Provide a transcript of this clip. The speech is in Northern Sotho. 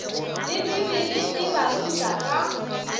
le bibele e baruta ka